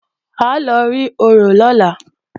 À ń lọ rí orò lọ́la